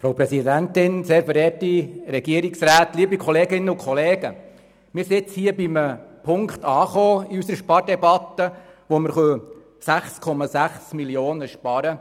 Wir sind in unserer Spardebatte bei einem Punkt angelangt, der uns ermöglicht, 6,6 Mio. Franken zu sparen.